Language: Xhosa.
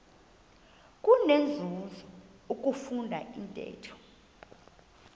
kunenzuzo ukufunda intetho